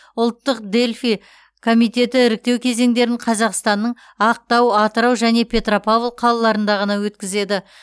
ұлттық дельфий комитеті іріктеу кезеңдерін қазақстанның ақтау атырау және петропавл қалаларында ғана өткізеді